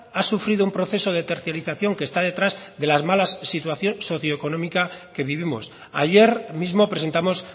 ha sufrido un proceso de tercialización que está detrás de las malas situación socioeconómica que vivimos ayer mismo presentamos